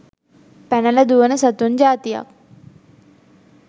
පැනල දුවන සතුන් ජාතියක්.